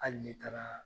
Hali ne taara